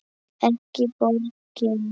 Ekki borgin.